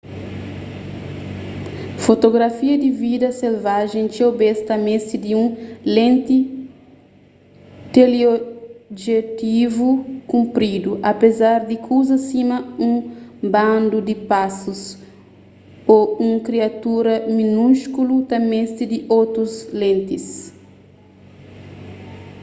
fotografia di vida selvajen txeu bês ta meste di un lenti teleobjetivu kunpridu apézar di kuzas sima un bandu di pásus ô un kriatura minúskulu ta meste di otus lentis